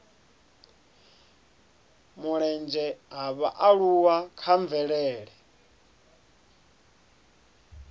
mulenzhe ha vhaaluwa kha mvelele